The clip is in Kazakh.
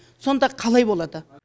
сонда қалай болады